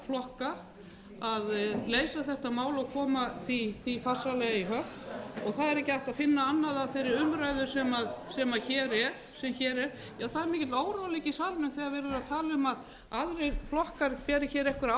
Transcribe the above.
flokka að leysa þetta mál og koma því farsællega í höfn það er ekki hægt að finna annað að þeirri umræðu sem hér er já það er mikill óróleiki í salnum þegar verið er að tala um að aðrir flokkar beri hér einhverja